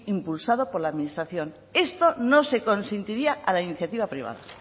impulsado por la administración esto no se consentiría a la iniciativa privada